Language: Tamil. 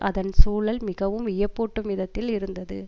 அதன் சூழல் மிகவும் வியப்பூட்டும் விதத்தில் இருந்தது